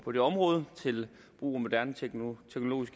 på det område ved brug af moderne teknologiske